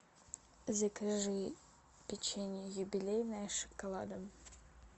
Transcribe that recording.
закажи печенье юбилейное с шоколадом